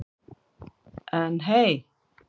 En hey.